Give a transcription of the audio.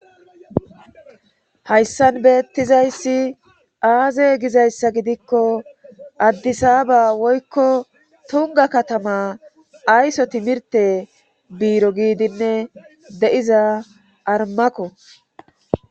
Hayssan beettizayssi aaze gizayssa gidikko addisaaba woykko tonga katama ayso timirte biiro giidinne de7iza armako